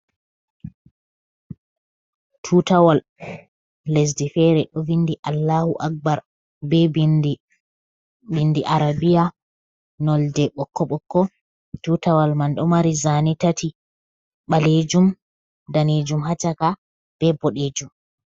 Tutawal lesdi fere do vindi Allahu Akbar, be bindi arabiya nonde bokko bokko tutawal man do mari zane tati balejum danejum hacaka be bodejum.